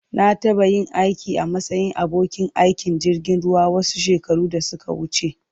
Na taɓa yin aiki a matsayin abokin aikin jirgin ruwa wasu shekaru da suka wuce.